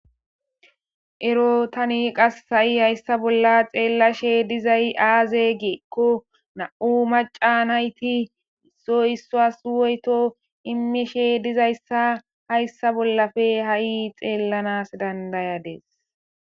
ero tani qas ha7i hayssa bolla xeellashe dizay aaze geekko na7u maca nayti isso issoas woyto imeshe dizayssa hayssa bollafe ha7i xeellanas dandayades